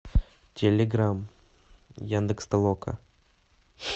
телеграмм яндекс толока